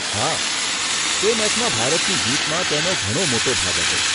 હા, તે મેચમાં ભારતની જીતમાં તેનો ઘણો મોટો ભાગ હતો.